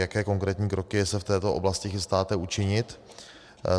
Jaké konkrétní kroky se v této oblasti chystáte učinit?